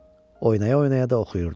Oynaya-oynaya da oxuyurdu.